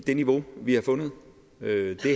det niveau vi har fundet det